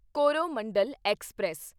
Coromandel express